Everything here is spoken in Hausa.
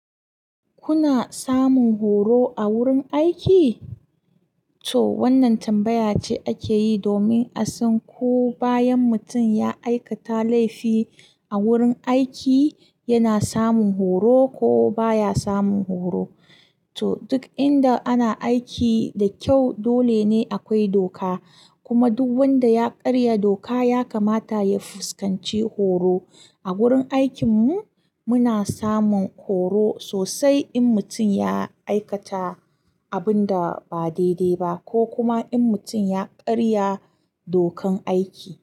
Kuna samun horo a wurin aiki? To wannan tambaya ce ake yi domin a san ko bayan mutum ya aikata laifi a wurin aiki, yana samun horo ko baya samun horo. To duk inda ana aiki da kyau dole ne akwai doka. Kuma duk wanda ya karya doka ya kamata ya fuskanci horo. A wurin aikinmu muna samun horo sosai in mutum ya aikata abin da ba daidai ba ko kuma in mutum ya karya dokan aiki.